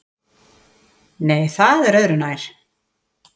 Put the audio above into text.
Nei, það er öðru nær.